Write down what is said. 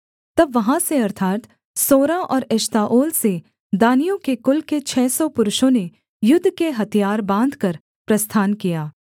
तब वहाँ से अर्थात् सोरा और एश्ताओल से दानियों के कुल के छः सौ पुरुषों ने युद्ध के हथियार बाँधकर प्रस्थान किया